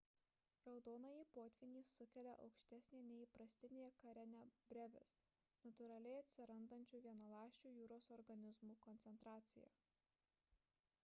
raudonąjį potvynį sukelia aukštesnė nei įprastinė karenia brevis natūraliai atsirandančių vienaląsčių jūros organizmų koncentracija